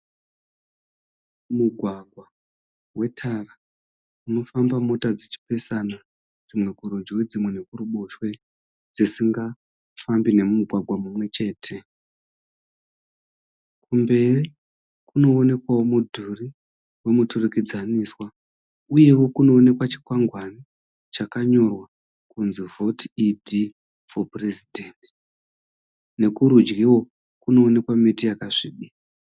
Mugwagwa wetara. Unofamba mota dzichipesana dzimwe kurudyi dzimwe nekuruboshwe dzisingafambi nemugwagwa mumwechete. Kumberi kunoonekwa mudhuri wemuturikidzaniswa uyewo kunoonekwa chikwangwani chakanyorwa kunzi vote ED for president. Nekurudyi kunoonekwa miti yakasvibirira.